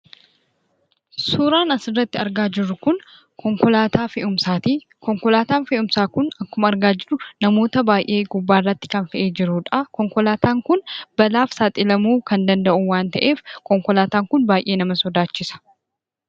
Suuraan asirratti argaa jirru kun konkolaataa fe'umsaati. Konkolaataan fe'umsaa kun akkuma argaa jirru namoota baay'ee gubbaarratti fe'ee kan jirudha. Konkolaataan kun balaaf saaxilamuu kan danda'u waan ta'eef konkolaataan kun baay'ee nama sodaachisa.